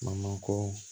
Mankoo